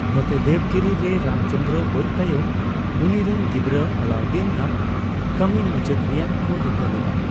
ᱱᱚᱛᱮ, ᱫᱮᱵᱽᱜᱤᱨᱤ ᱨᱮ, ᱨᱟᱢᱪᱚᱸᱱᱫᱚᱨᱚ ᱜᱚᱡᱽ ᱛᱟᱭᱚᱢ, ᱩᱱᱤ ᱨᱮᱱ ᱜᱤᱫᱽᱨᱟᱹ ᱟᱞᱟᱩᱫᱽᱫᱤᱱ ᱟᱜ ᱠᱟᱢᱤ ᱢᱩᱪᱟᱹᱫ ᱨᱮᱭᱟᱜ ᱠᱚ ᱨᱤᱠᱟᱹ ᱞᱮᱫᱟ ᱾